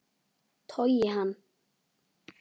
Togi hann.